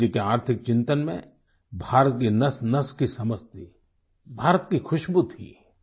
गाँधी जी के आर्थिक चिंतन में भारत की नसनस की समझ थी भारत की खुशबू थी